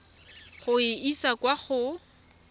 go e isa kwa go